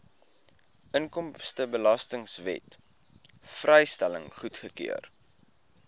inkomstebelastingwet vrystelling goedgekeur